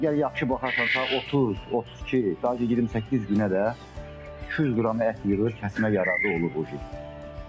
Əgər yaxşı baxarsansa 30-32, bəlkə 28 günə də yarım kiloqram ət yığır, kəsməyə yararlı olur.